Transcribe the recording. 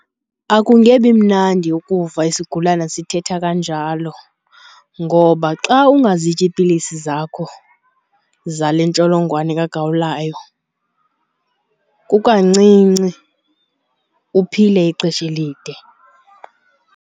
Akungebi mnandi ukuva isigulana sithetha kanjalo ngoba xa ungazityi iipilisi zakho zale ntsholongwane kagawulayo kukancinci uphile ixesha elide.